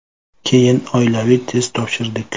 Keyin oilaviy test topshirdik.